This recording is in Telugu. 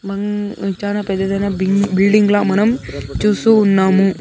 బాంగ్-- చాలా పెద్దదైన బలి-- బిల్డింగ్ లా మనం చూస్తూ ఉన్నాము.